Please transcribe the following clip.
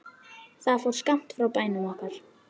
Það fór skammt frá bænum okkar.